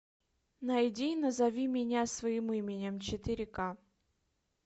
найди назови меня своим именем четыре ка